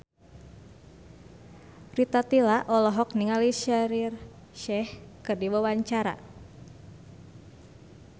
Rita Tila olohok ningali Shaheer Sheikh keur diwawancara